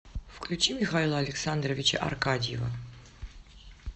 включи михаила александровича аркадьева